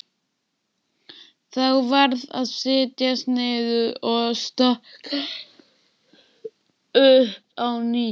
Þá varð að setjast niður og stokka upp á nýtt.